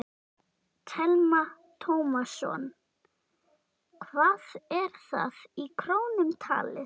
Telma Tómasson: Hvað er það í krónum talið?